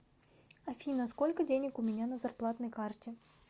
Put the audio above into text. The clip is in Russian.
афина сколько денег у меня на зарплатной карте